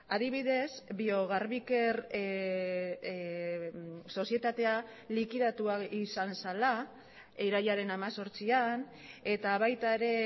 adibidez biogarbiker sozietatea likidatua izan zela irailaren hemezortzian eta baita ere